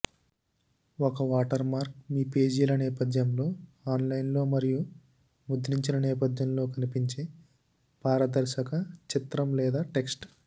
ఒక వాటర్మార్క్ మీ పేజీల నేపథ్యంలో ఆన్లైన్లో మరియు ముద్రించిన నేపథ్యంలో కనిపించే పారదర్శక చిత్రం లేదా టెక్స్ట్